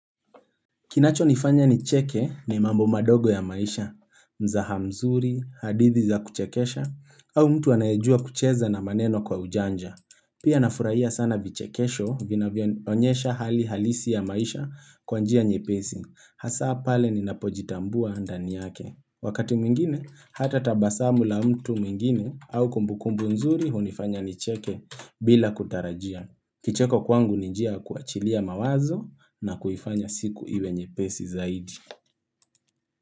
Kinacho nifanya nicheke ni mambo madogo ya maisha, mzaha mzuri, hadithi za kuchekesha, au mtu anayejua kucheza na maneno kwa ujanja. Pia nafurahia sana vichekesho vinavyonyesha hali halisi ya maisha kwa njia nyepesi. Hasa pale ninapojitambua ndani yake. Wakati mwingine, hata tabasamu la mtu mwingine au kumbukumbu mzuri hunifanya ni cheke bila kutarajia. Kicheko kwangu ni njia kuachilia mawazo na kuhifanya siku iwe nyepesi zaidi.